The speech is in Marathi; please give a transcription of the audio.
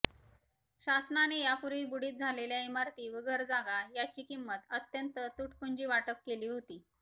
शासनाने यापूर्वी बुडीत झालेल्या इमारती व घरजागा याची किंमत अत्यंत तुटपुंजी वाटप केली होती